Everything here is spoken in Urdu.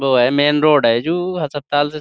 وو ہے میں روڈ ہے جو --